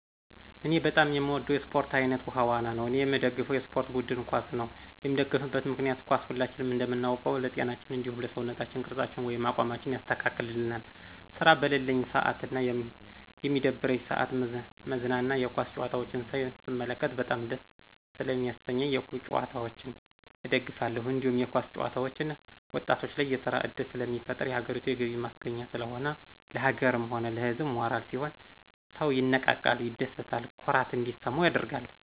እኔ በጣም የምወደው የስፖርት አይነት ውሀ ዋና ነው እኔየምደግፈው የስፖርት ቡድን ኳስ ነው የምደግፍበት ምክንያት ኳስ ሁላችንም እንደምናውቀው ለጤናችን እንዲሁም ለሰውነት ቅርፃችን ወይም አቋማችን ያስተካክልልናል ስራ በለለኝ ስአትና በሚደብረኝ ስአት ምዝናና የኳስ ጨዋታዎችን ሳይ ስመለከት በጣም ደስታ ሰለሚስጠኝ የኳስ ጭዋታን እደግፋለሁ። እንዲሁም የኳስ ተጨዋቾች ወጣቶች ላይ የስራ እድል ስለሚፈጥር የሀገሪቱ የገቢ ማስገኛ ስለሆነ፣ ለሀገርም ሆነ ለህዝብ ሞራል ሲሆን ሰው ይነቃቃል፣ ይደስታ፣ ኩራት እንዲሰማው ያደርጋል።